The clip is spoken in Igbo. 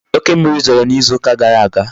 Oke mmiri zoro n'izu uka gara aga